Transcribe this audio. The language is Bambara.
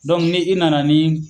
ni i nana ni